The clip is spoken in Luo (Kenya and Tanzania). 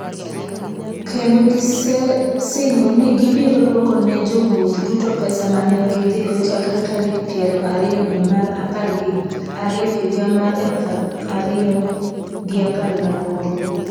Kendo gisesingo ni gibiro duoko ne jowuoth duto pesa ma ne gidhigo chakre tarik 20 dwe mar apar gi ariyo higa mar 2018.